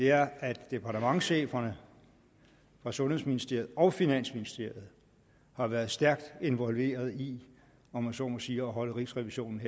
er at departementscheferne fra sundhedsministeriet og finansministeriet har været stærkt involveret i om jeg så må sige at holde rigsrevisionen